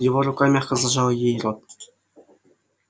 его рука мягко зажала ей рот